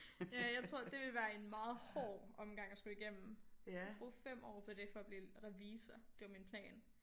Ja jeg tror det ville være en meget hård omgang at skulle igennem bruge 5 år på det for at blive revisor det var min plan